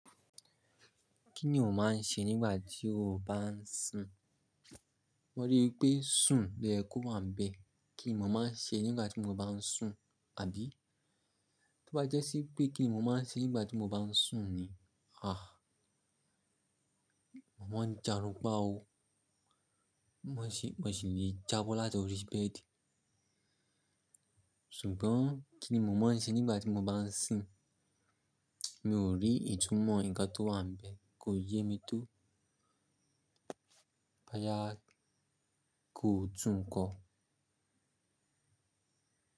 Kí ni o máa ń ṣe nígbà tí o bá ń sun? Mo ri i wipé sùn lo ye kò wá n bẹ́ẹ̀. Kí ni mo máa ń ṣe nígbà tí mo bá ń sùn, àbí? Tó bá jẹ́ sí pé kí ni mo máa ń ṣe nígbà tí mo bá ń sùn ni, ah. Mo máa ń jàrun pá o. Mo sì le jábọ́ láti orí bẹ́ẹ̀dì. Ṣùgbọ́n kí ni mo máa ń ṣe nígbà tí mo bá ń sìn? Mi ò rí ìtúmọ̀ nǹkan tó wà n bẹ́ẹ̀ kò yé mi tó. Bo yá kò tún kọ.